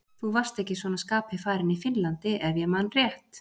Þú varst ekki svona skapi farinn í Finnlandi, ef ég man rétt.